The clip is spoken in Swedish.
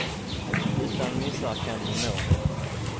Utan missar kan hon nå högt.